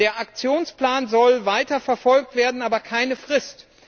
Der Aktionsplan soll weiterverfolgt werden, aber keine Frist.